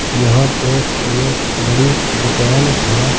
यहां पे यह बड़ी दुकान है।